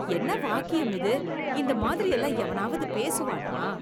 என்ன வாக்கியம் இது? இந்த மாதிரியெல்லாம் எவனாவது பேசுவானா?